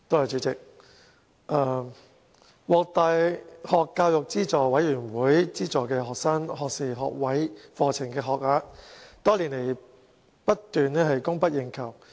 主席，獲大學教育資助委員會資助的學士學位課程的學額多年來供不應求。